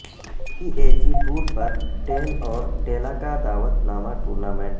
P A G tour پر ڈین اور ڈیلاکا دعوت نامہ ٹورنامنٹ